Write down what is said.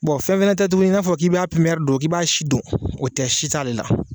Bon fɛn fana tɛ tuguni in n'a fɔ k'i b'a pipiniɲɛri don , k'i b'a si dɔn o tɛ si t'ale la.